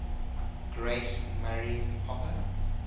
grace murray hopper